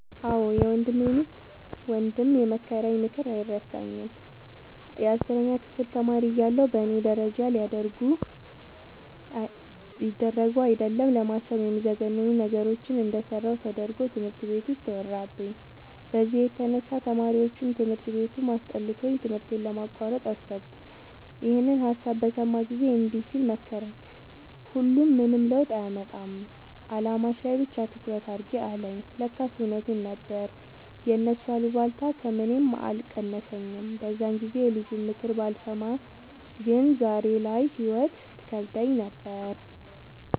አዎ የወንድሜ ሚስት ወንድም የመከረኝ ምክር አይረሳኝም። የአስረኛ ክፍል ተማሪ እያለሁ በእኔ ደረጃ ሊደረጉ አይደለም ለማሰብ የሚዘገንኑ ነገሮችን እንደሰራሁ ተደርጎ ትምህርት ቤት ውስጥ ተወራብኝ። በዚህ የተነሳ ተማሪዎቹም ትምህርት ቤቱም አስጠልቶኝ ትምህርቴን ለማቋረጥ አሰብኩ። ይኸንን ሀሳብ በሰማ ጊዜ እንዲህ ሲል መከረኝ "ሁሉም ምንም ለውጥ አያመጣም አላማሽ ላይ ብቻ ትኩረት አድርጊ" አለኝ። ለካስ እውነቱን ነበር የእነሱ አሉባልታ ከምኔም አልቀነሰኝም። በዛን ጊዜ የልጁንምክር ባልሰማ ዛሬ ላይ ህይወት ትከብደኝ ነበር።